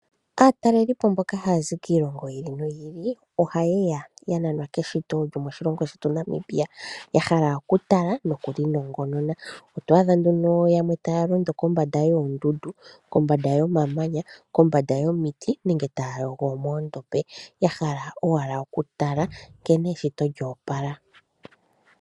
Aatalelipo mboka ha yazi kiilongo yi ili noyi ili, oha yeya ya nanwa keshito lyo moshilongo shetu Namibia. Ya hala oku tala noku li nongonona, oto adha nduno yamwe ta ya londo kombanda yoondundu, kombanda yo mamanya, kombanda yomiti nenge taya yogo moondombe. Ya hala owala oku tala nkene eshito lyoopala.